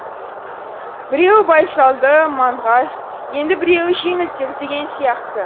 біреуі байсалды маңғаз енді біреуі жеңілтек деген сияқты